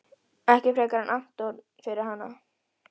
Ekki frekar en Anton fyrir hana.